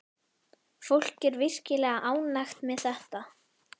Fólk er virkilega ánægt með þetta.